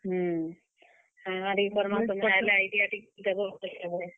ହୁଁ, କାଣା, କାଣା ଟିକେ କର୍ ମା ସତେ ଆଏଲେ idea ଟିକେ ଦେବ ।